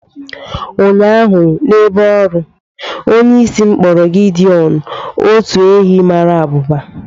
Ụnyahụ n'ebe ọrụ, onyeisi m kpọrọ Gideọn otu ehi mara abụba